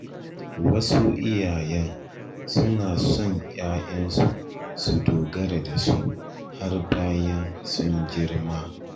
Wasu iyaye suna son ‘ya’yansu su dogara da su har bayan sun girma.